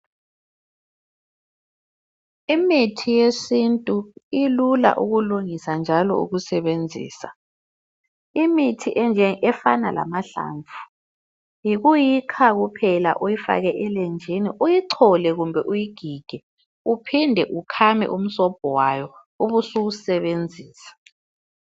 Imithi yesintu ilula ukulungisa njalo ukusebenzisa. Imithi efana lamahlamvu yikuyikha kuphela uyifake elenjini, uyichole kumbe uyigige uphinde ukhame umsobho wayo ubusuwusebenzisa.